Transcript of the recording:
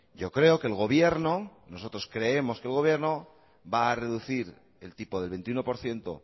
yo creo que el gobierno nosotros creemos que el gobierno va a reducir el tipo del veintiuno por ciento